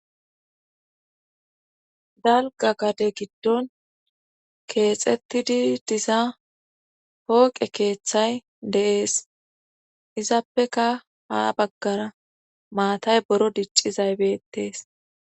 Dalgga gade giddon keexettidi diza pooqe keeththay deees. Izappeka ha baggara maatay boro diccizay beetees.